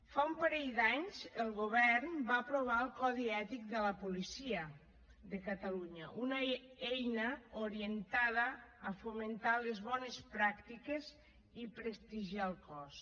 fa un parell d’anys el govern va aprovar el codi ètic de la policia de catalunya una eina orientada a fomentar les bones pràctiques i prestigiar el cos